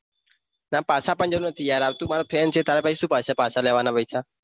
તને પાછા આપવાની જરૂર નથી તું યાર friend છે તારી પાસે શું પૈસા પાછા લેવાના.